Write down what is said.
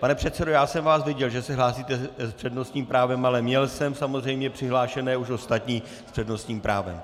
Pane předsedo, já jsem vás viděl, že se hlásíte s přednostním právem, ale měl jsem samozřejmě přihlášené už ostatní s přednostním právem.